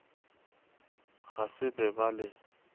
ga se be ba le